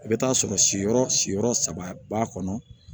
I bɛ t'a sɔrɔ si yɔrɔ siyɔrɔ saba b'a kɔnɔ